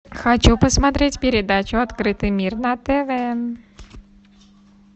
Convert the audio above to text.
хочу посмотреть передачу открытый мир на тв